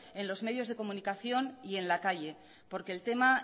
en los medios de comunicación y en la calle porque el tema